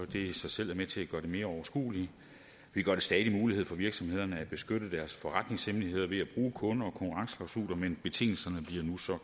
det i sig selv er med til at gøre det mere overskueligt vi gør det stadig muligt for virksomhederne at beskytte deres forretningshemmeligheder ved at bruge kunde og konkurrenceklausuler men betingelserne bliver nu